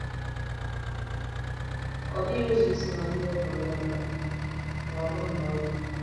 Ọ dịghị ụzọ isi mata ihe ọ pụrụ ịghọta — ma ọ bụrụ na ọ dị.